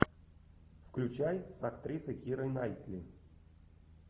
включай с актрисой кирой найтли